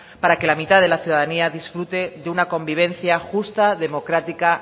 para que la mitad de la ciudadanía disfrute de una convivencia justa democrática